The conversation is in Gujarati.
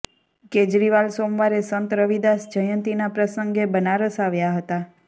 કેજરીવાલ સોમવારે સંત રવિદાસ જયંતિના પ્રસંગે બનારસ આવ્યા હતા